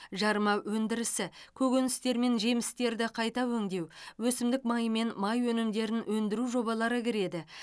жарма өндірісі көкөністер мен жемістерді қайта өңдеу өсімдік майы мен май өнімдерін өндіру жобалары кіреді